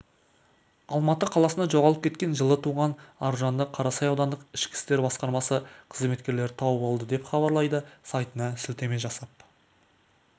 алматы қаласында жоғалып кеткен жылы туған аружанды қарасай аудандық ішкі істер басқармасы қызметкерлері тауып алды деп хабарлайды сайтына сілтеме жасап